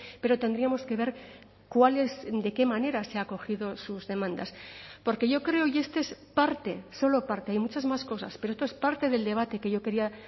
pero tendríamos que ver cuál es de qué manera se ha acogido sus demandas porque yo creo y este es parte solo parte hay muchas más cosas pero esto es parte del debate que yo quería